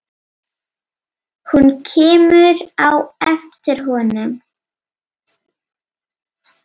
Hún kemur á eftir honum.